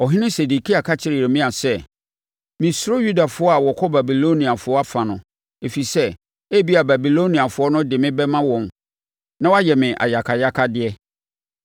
Ɔhene Sedekia ka kyerɛɛ Yeremia sɛ, “Mesuro Yudafoɔ a wɔkɔ Babiloniafoɔ afa no, ɛfiri sɛ, ebia Babiloniafoɔ no de me bɛma wɔn na wɔayɛ me ayakayakadeɛ.”